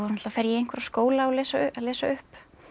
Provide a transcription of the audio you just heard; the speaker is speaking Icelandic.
fer ég í einhverja skóla að lesa upp